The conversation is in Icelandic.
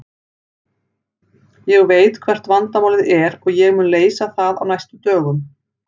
Ég veit hvert vandamálið er og ég mun leysa það á næstu dögum.